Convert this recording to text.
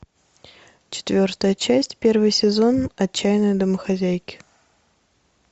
четвертая часть первый сезон отчаянные домохозяйки